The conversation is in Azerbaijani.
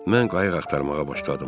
Mən qayıq axtarmağa başladım.